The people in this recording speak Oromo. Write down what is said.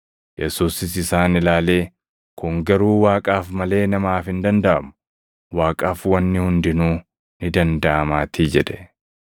Yesuusis isaan ilaalee, “Kun garuu Waaqaaf malee namaaf hin dandaʼamu; Waaqaaf wanni hundinuu ni dandaʼamaatii” jedhe.